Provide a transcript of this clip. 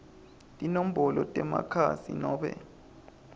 tinombolo temakhasi nobe